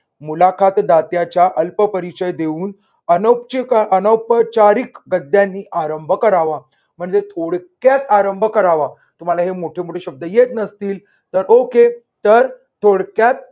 मुलाखत दात्याच्या अल्प परिचय देऊन अन अह अनउपचारीक गद्यांनी आरंभ करावा म्हणजे थोडक्यात आरंभ करावा. तुम्हाला हे मोठे मोठे शब्द येत नसतील तर okay तर थोडक्यात